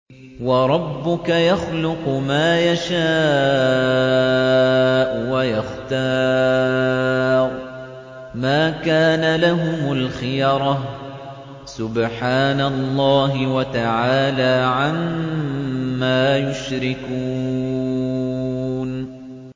وَرَبُّكَ يَخْلُقُ مَا يَشَاءُ وَيَخْتَارُ ۗ مَا كَانَ لَهُمُ الْخِيَرَةُ ۚ سُبْحَانَ اللَّهِ وَتَعَالَىٰ عَمَّا يُشْرِكُونَ